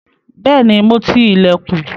Bẹ́ẹ̀ni, mo ti ilẹ̀kùn.